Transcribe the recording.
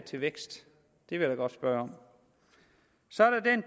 til vækst det vil jeg godt spørge om så